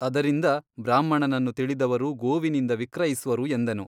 ಅದರಿಂದ ಬ್ರಾಹ್ಮಣನನ್ನು ತಿಳಿದವರು ಗೋವಿನಿಂದ ವಿಕ್ರಯಿಸುವರು ಎಂದನು.